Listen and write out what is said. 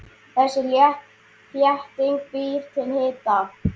Þessi þétting býr til hita.